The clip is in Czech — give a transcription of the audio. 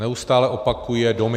Neustále opakuje domy.